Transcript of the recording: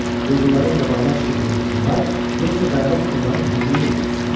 Quldurların qabağına çıxıb vuruşsunlar, yoxsa dayanıb onların hücumunu gözləsinlər?